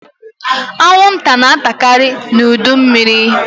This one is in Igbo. Anwụnta na-atakaari n'udu mmịrị.